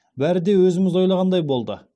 бәрі де өзіміз ойлағандай болды